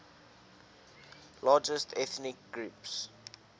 largest ethnic groups